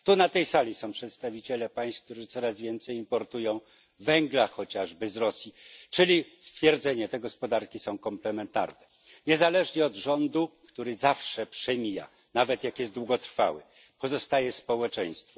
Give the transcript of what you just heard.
Tu, na tej sali, są przedstawiciele państw, które coraz więcej importują węgla chociażby z Rosji, czyli można stwierdzić, że te gospodarki są komplementarne niezależnie od rządu, który zawsze przemija, nawet jak jest długotrwały, pozostaje społeczeństwo.